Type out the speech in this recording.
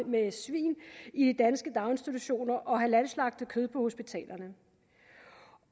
med svin i danske daginstitutioner og halalslagtet kød på hospitalerne